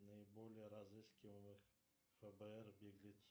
наиболее разыскиваемых фбр беглецов